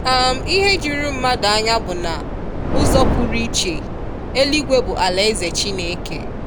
um Ihe juru mmadu anya bụ na ụzọ pụrụ iche, eluigwe bụ alaeze Chineke.